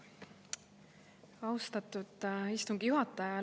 Austatud istungi juhataja!